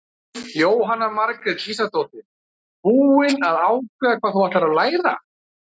Jóhanna Margrét Gísladóttir: Búin að ákveða hvað þú ætlar að læra?